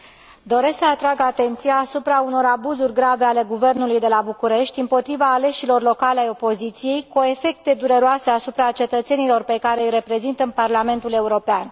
Doresc să atrag atenția asupra unor abuzuri grave ale guvernului de la București împotriva aleșilor locali ai opoziției, cu efecte dureroase asupra cetățenilor pe care îi reprezintă în Parlamentul European.